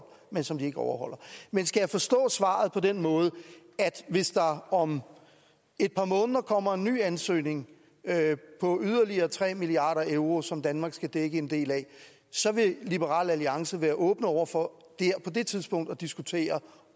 men som de ikke overholder men skal jeg forstå svaret på den måde at hvis der om et par måneder kommer en ny ansøgning på yderligere tre milliard euro som danmark skal dække en del af så vil liberal alliance være åben over for på det tidspunkt at diskutere